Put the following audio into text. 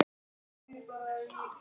Kunni að njóta og meta.